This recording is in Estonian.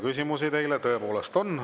Küsimusi teile tõepoolest on.